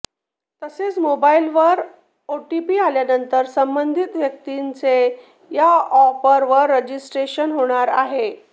तसेच मोबाईलवर ओटीपी आल्यानंतर संबंधित व्यक्तीचे या अॅपवर रजिस्ट्रेशन होणार आहे